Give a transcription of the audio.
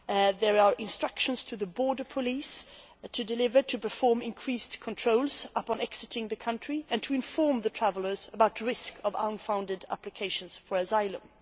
There are instructions to the border police to deliver and to perform increased controls on people exiting the country and to inform travellers about the risk of unfounded applications for asylum.